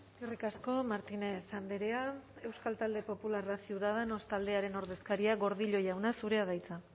eskerrik asko martínez andrea euskal talde popularrak ciudadanos taldearen ordezkaria gordillo jauna zurea da hitza